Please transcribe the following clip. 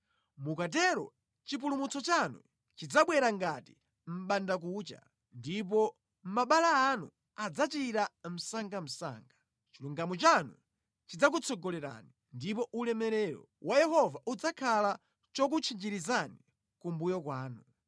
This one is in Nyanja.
Mukatero chipulumutso chanu chidzabwera ngati mʼbandakucha, ndipo mabala anu adzachira msangamsanga; chilungamo chanu chidzakutsogolerani ndipo ulemerero wa Yehova udzakhala chokutchinjirizani kumbuyo kwanu.